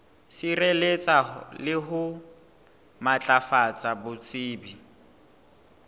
sireletsa le ho matlafatsa botsebi